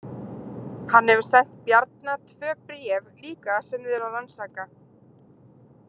Hann hefur sent Bjarna tvö bréf líka sem þið eruð að rannsaka.